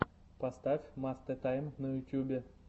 поставь мастэ тайм на ютубе